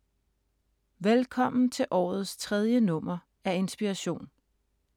Velkommen til årets tredje nummer af Inspiration.